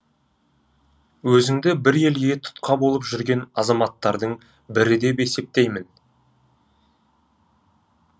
өзіңді бір елге тұтқа болып жүрген азаматтардың бірі деп есептеймін